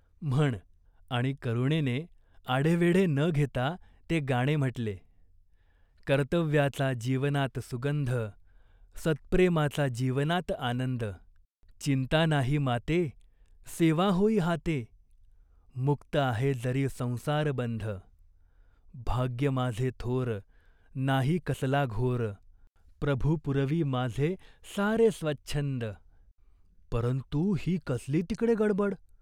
म्हण !" आणि करुणेने आढेवेढे न घेता ते गाणे म्हटले. "कर्तव्याचा जीवनात सुगंध" सत्प्रेमाचा जीवनात आनंद चिंता नाहीं मातें सेवा होई हातें मुक्त आहे जरी संसार बंध भाग्य माझे थोर नाही कसला घोर प्रभु पुरवी माझे सारे स्वच्छंद परंतु ही कसली तिकडे गडबड!